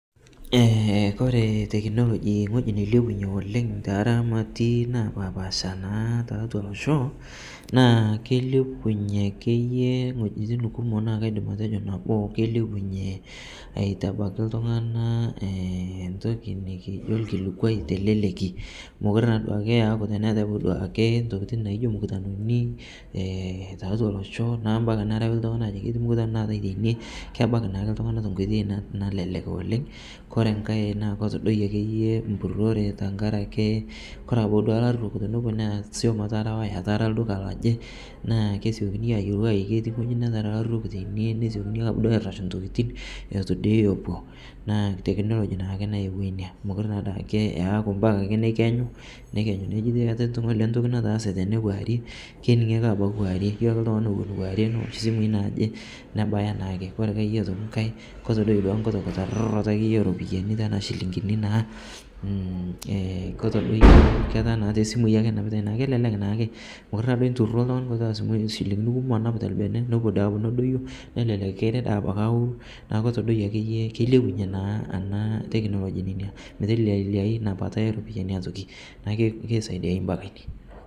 kore teknologii nghoji neilepunye oleng teramatii napaapasha naa taatua losho naa keilepunye akeye nghojitin kumoo naa kaidim atejoo naboo keilepunyee aitabakii ltungana ntokii nikijoo llkilikwai teleleki mokure naa duake eaku teneatai abaki duake ntokitin naijo mkutanonii taatua loshoo naa mpaka narawii ltungana ajoki keatai mkutano teinie kebaki naake ltungana tenkoitei nalelek oleng kore nghai naa kotodoyie akeyee mpurore tankarakakee kore abaki duake larok tonoponuu naa suom etarawaa etara lduka lojii naa kesiokini ajoo keti nghojii nataraa laruok teinie nesiokini abaki duake airashuu ntokitin etuu dei epuo naa teknologi naake nayewua inia mokure naadake eakuu mpaka neikenyuu neji ketii nghole ntoki nataase tende kuarie keningii abakii akee kuarie iyolo akee ltungani ewon kuarie newosh simui naaje nebayaa daake. Kore ake otoki akeye nghai kotodoyie nkutoo nkutararutoo eropiyani tanaa silinkinii naa ketaa tesimui enapitai naa kelelek naake mokuree naaduo intuuro ltungani nkutaa silinkini kumoo anap telbene nopuo duake nedoyoo nelelek kirii daabaki aworuu naaku kotodoiye akeye keilepunyee naa ana teknologii nenia metelelia inia bata eropiyani otoki naaku keisaidiaye mpaka inie